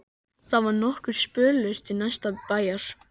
Það var nokkur spölur til næsta bæjar.